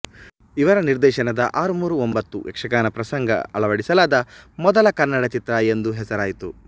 ಇವರ ನಿರ್ದೇಶನದ ಆರು ಮೂರು ಒಂಬತ್ತು ಯಕ್ಷಗಾನ ಪ್ರಸಂಗ ಅಳವಡಿಸಲಾದ ಮೊದಲ ಕನ್ನಡ ಚಿತ್ರ ಎಂದು ಹೆಸರಾಯಿತು